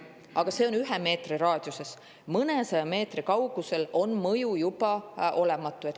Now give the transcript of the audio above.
Aga see on ühe meetri raadiuses, mõnesaja meetri kaugusel on mõju juba olematu.